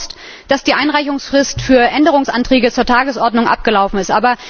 Mir ist bewusst, dass die Einreichungsfrist für Änderungsanträge zur Tagesordnung abgelaufen ist.